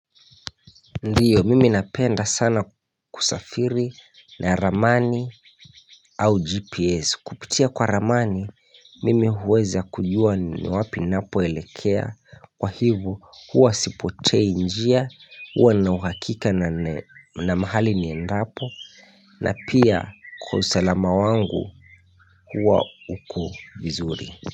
Ndiyo mimi napenda sana kusafiri na ramani au gps kupitia kwa ramani mimi huweza kujua ni wapi napoelekea kwa hivyo huwa sipotei njia huwa na uhakika na mahali niendapo na pia kwa usalama wangu huwa uko vizuri.